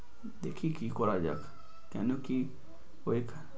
দেখি কি করা যাক। কেনো কি?